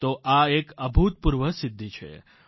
તો આ એક અભૂતપૂર્વ સિદ્ધી છે